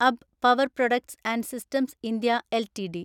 അബ്ബ് Power Products and Systems India LTD